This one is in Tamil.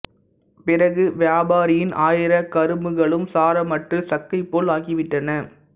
பிறகு வியாபாரியின் ஆயிரம் கரும்புகளும் சாரமற்றுச் சக்கை போல் ஆகிவிட்டன